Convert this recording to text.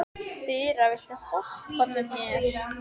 Þura, viltu hoppa með mér?